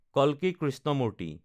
কালকী Krishnamurti